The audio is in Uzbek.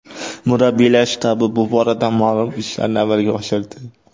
Murabbiylar shtabi bu borada ma’lum ishlarni amalga oshirdi.